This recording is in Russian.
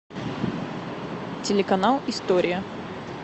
телеканал история